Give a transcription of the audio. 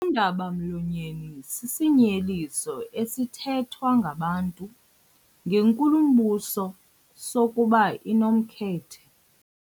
Undaba-mlonyeni sisinyeliso esithethwa ngabantu ngenkulumbuso sokuba inomkhethe.